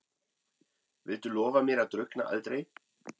Viltu lofa mér að drukkna aldrei?